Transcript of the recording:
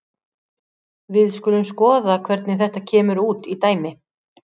Við skulum skoða hvernig þetta kemur út í dæmi.